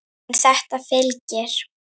En þetta fylgir.